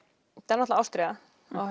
náttúrulega ástríða